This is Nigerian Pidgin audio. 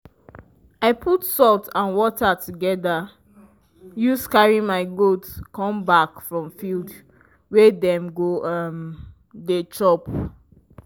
i put salt and water together use carry my goat come back from field wey dem go um dey chop.